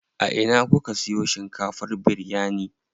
A ina kuka siyo shinkafar biryani?